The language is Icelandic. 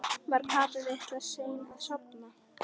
Var Kata litla sein að sofna?